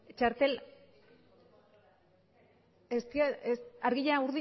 txartel argia